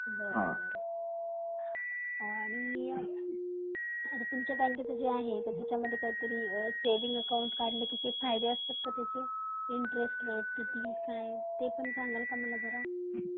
बर बर .आणि तुमच्या बँकेच आहे तर त्याच्या मध्ये काहीतरी सेविंग अकाऊंट काढल तर काही फायदे असते का त्याचे इंटरेस्ट काय ते पण सांगाल का मला जरा ?